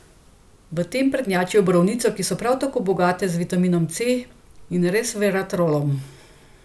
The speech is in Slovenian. V tem prednjačijo borovnice, ki so prav tako bogate z vitaminom C in resveratrolom.